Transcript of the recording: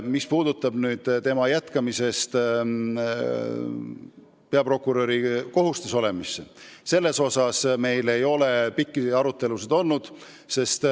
Mis puudutab tema jätkamist peaprokuröri kohustustes olles, siis selle üle meil ei ole pikki arutelusid olnud.